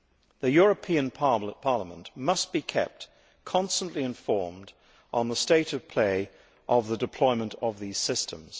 The European Parliament must be kept constantly informed on the state of play of the deployment of these systems.